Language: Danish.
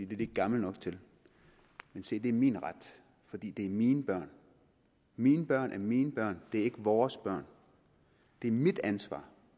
de ikke gamle nok til men se det er min ret fordi det er mine børn mine børn er mine børn det er ikke vores børn det er mit ansvar